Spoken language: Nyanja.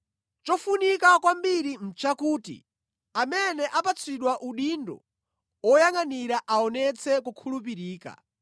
Chofunika kwambiri nʼchakuti amene apatsidwa udindo oyangʼanira aonetse kukhulupirika.